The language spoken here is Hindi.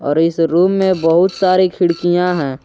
और इस रूम में बहुत सारी खिड़कियां हैं।